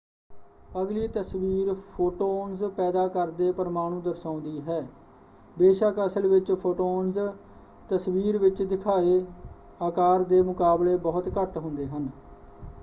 ਅਗਲੀ ਤਸਵੀਰ ਫੋਟੋਨਸ ਪੈਦਾ ਕਰਦੇ ਪ੍ਰਮਾਣੂ ਦਰਸਾਉਂਦੀ ਹੈ। ਬੇਸ਼ੱਕ ਅਸਲ ਵਿੱਚ ਫੋਟੋਨਸ ਤਸਵੀਰ ਵਿੱਚ ਦਿਖਾਏ ਆਕਾਰ ਦੇ ਮੁਕਾਬਲੇ ਬਹੁਤ ਘੱਟ ਹੁੰਦੇ ਹਨ।